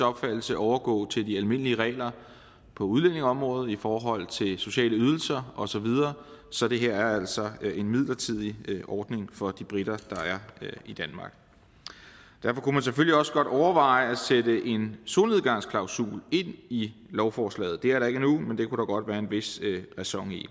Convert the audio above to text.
opfattelse overgå til de almindelige regler på udlændingeområdet i forhold til sociale ydelser osv så det her er altså en midlertidig ordning for de briter der er i danmark man kunne selvfølgelig også godt overveje at sætte en solnedgangsklausul ind i lovforslaget det er der ikke endnu men det kunne der godt være en vis ræson i